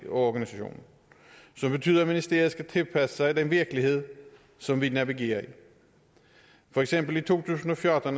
organisationen så det betyder at ministeriet skal tilpasse sig den virkelighed som vi navigerer i for eksempel i to tusind og fjorten